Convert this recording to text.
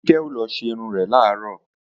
Kíkẹ́ ó lọ ṣerun rẹ̀ làárọ̀